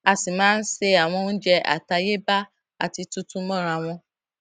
a sì máa ń se àwọn oúnjẹ àtayébáyé àti tuntun mọra wọn